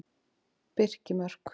Birkimörk